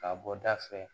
K'a bɔ da fɛ